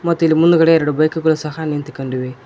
ಮತ್ತು ಇಲ್ಲಿ ಮುಂದ್ಗಡೆ ಎರಡು ಬೈಕ್ ಗಳು ಸಹ ನಿಂತುಕೊಂಡಿವೆ.